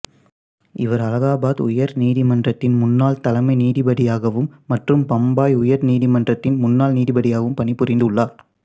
இவர் அலகாபாத் உயர்நீதிமன்றத்தின் முன்னாள் தலைமை நீதிபதியாகவும் மற்றும் பம்பாய் உயர் நீதிமன்றத்தின் முன்னாள் நீதிபதியாகவும் பணிபுரிந்துள்ளார்